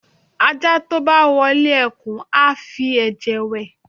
aja to bá wọle ekun, a fí eje wè